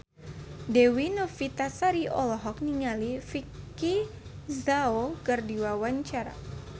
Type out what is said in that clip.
Dewi Novitasari olohok ningali Vicki Zao keur diwawancara